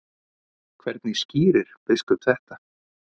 Hvernig skýrir biskup þetta?